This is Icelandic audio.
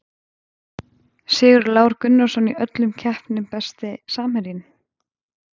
Sigurður Lár Gunnarsson í öllum keppnum Besti samherjinn?